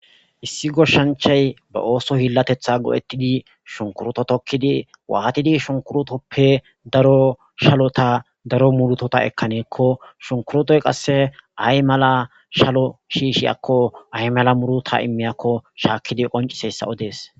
Issi goshanchay ba oso hilateta go'atidi shunikuruto tokidi watidi shunikutoppe daro shalota daro murutata ekanakko shunikurutoy qase ayimala shalo shishiyakko ayimala muruta imiyakko shakidi qoncisiyaysa odes.